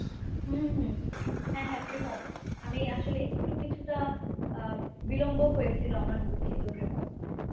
হুম হ্যাঁ হ্যাঁ প্রিমো, আমি আসলে একটু কিছুটা বিলম্ব হয়েছিল আমার। দুঃখিত ‍প্রিমো।